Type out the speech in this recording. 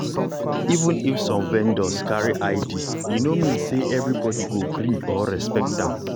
even if some vendors carry id e no mean say everybody go gree or respect am.